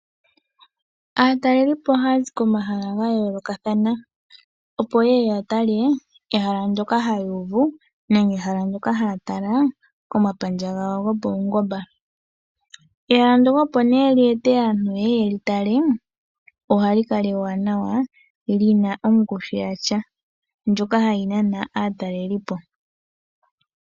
Aatalelelipo ohaya zi komahala ga yoolokathana opo ye ye ya tale ehala ndyoka haya uvu nenge ehala ndoka haya tala komapandja gawo gopaungomba. Ehala ndyoka opo nee lye ete aantu ye ye ye li tale ohali kala ewanawa li na ongushu yasha ndjoka hayi nana aatalelelipo.